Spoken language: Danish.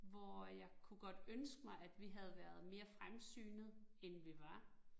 Hvor jeg kunne godt ønske mig, at vi havde været mere fremsynet end vi var